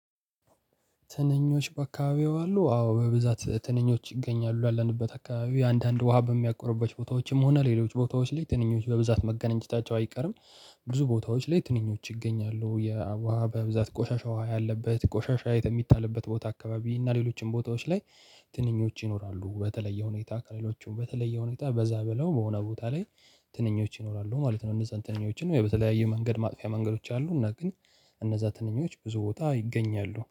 ትንኞች በአካባቢው አሉ አዎ በብዛት ትንኞች ይገኛሉ ያለንበት አካባቢው አንዳንድ ውሃ በሚያቆርበት ቦታዎችም ሆነ ሌሎች ቦታዎች ላይ ትንኞች በብዛት መገናኘታቸው አይቀርም። ብዙ ቦታዎች ላይ ትንኞች ይገኛሉ። የአ ውሃ በብዛት ቆሻሻ ውሃ ያለበት ቆሻሻ የሚጣልበት ቦታ አካባቢ እና ሌሎችም ቦታዎች ላይ። ትንኞች ይኖራሉ በተለየ ሁኔታ ከሌሎቹም በተለየ ሁኔታ በዛ ብለው በሆነ ቦታ ላይ ትንኞች ይኖራሉ ማለት ነው። እነዛን ትንኞችን ወይ በተለያዩ መንገድ ማጥፊያ መንገዶች አሉ እና ግን እነዛ ትንኞች ብዙ ቦታ ይገኛሉ